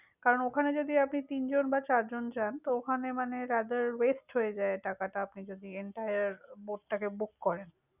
কারণ ওখানে যদি আপনি তিনজন বা চারজন যান, তো ওখানে মানে rather waste হয়ে যায় টাকাটা, আপনি যদি entire boat টাকে book করেন।